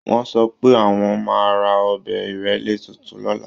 Wọ́n sọ pé àwọn máa ra ọ̀bẹ ìrélé tuntun lọ́la